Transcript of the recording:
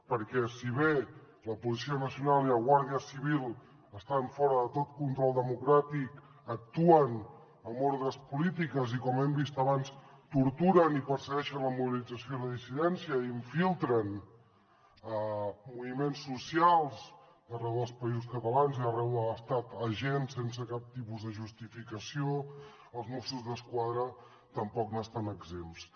perquè si bé la policia nacional i la guàrdia civil estan fora de tot control democràtic actuen amb ordres polítiques i com hem vist abans torturen i persegueixen la mobilització i la dissidència i infiltren a moviments socials d’arreu dels països catalans i d’arreu de l’estat agents sense cap tipus de justificació els mossos d’esquadra tampoc n’estan exempts